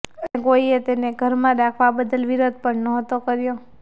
અને કોઈએ તેને ઘરમાં રાખવા બદલ વિરોધ પણ નહોતો કર્યો